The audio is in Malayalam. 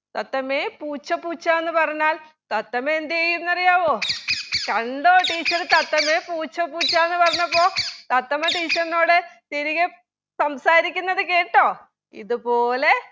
തത്തമ്മേ പൂച്ച പൂച്ച എന്ന് പറഞ്ഞാൽ തത്തമ്മയെന്ത് ചെയ്യുമെന്നറിയാവോ കണ്ടോ teacher തത്തമ്മേ പൂച്ച പൂച്ചാണ് പറഞ്ഞപ്പോ തത്തമ്മ teacher നോട് തിരികെ സംസാരിക്കുന്നത് കേട്ടോ ഇത് പോലെ